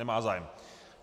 Nemá zájem.